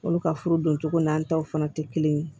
Olu ka furu dun cogo n'an taw fana tɛ kelen ye